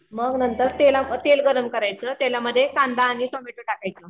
मग नंतर तेल गरम करायचं तेलामध्ये कांदा आणि टोमॅटो टाकायचं